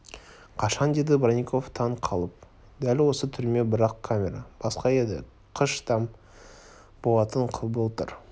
қашан деді бронников таң қалып дәл осы түрме бірақ камера басқа еді қыш там болатын былтыр